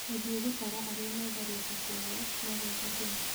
Gũthiĩ gũtaara arĩa metharĩte kwao magoka Kenya